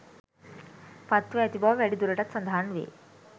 පත්ව ඇති බව වැඩි දුරටත් සදහන් වේ